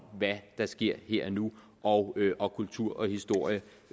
hvad der sker her og nu og og kultur og historie